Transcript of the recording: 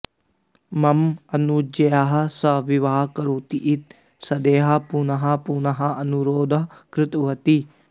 मम अनुजया सह विवाहं करोतु इति सुदेहा पुनः पुनः अनुरोधं कृतवती